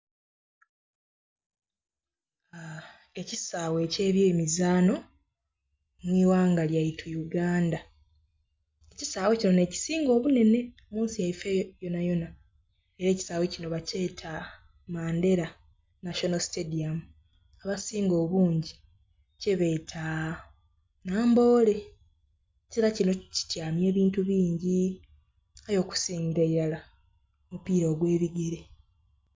Ekisaawe eky'ebyemizaano mu ighanga lyaitu Uganda. Ekisaawe kino nh'ekisinga obunhenhe mu nsi yaife yonayona. Era ekisaawe kino bakyeta Mandela National Stadium, abasinga obungi kyebeeta Namboole. Ekisaawe kino kityamya ebintu bingi aye okusingila ilara, omupiira ogw'ebigere.